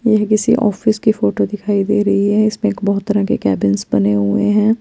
यह किसी ऑफिस की फोटो दिखाई देरही है इस्पे बोहोत र्तारह के केबिंस बने हुए है।